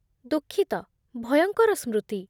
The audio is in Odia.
ଦୁଃଖିତ, ଭୟଙ୍କର ସ୍ମୃତି।